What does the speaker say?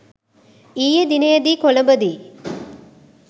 ඊයේ දිනයේදී කොලඹදී